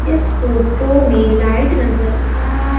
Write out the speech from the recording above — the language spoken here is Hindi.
इस फोटो में लाइट नजर आ--